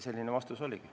Selline vastus oligi.